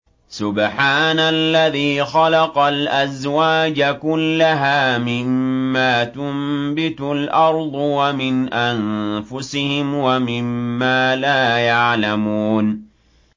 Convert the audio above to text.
سُبْحَانَ الَّذِي خَلَقَ الْأَزْوَاجَ كُلَّهَا مِمَّا تُنبِتُ الْأَرْضُ وَمِنْ أَنفُسِهِمْ وَمِمَّا لَا يَعْلَمُونَ